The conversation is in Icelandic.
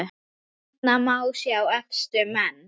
Hérna má sjá efstu menn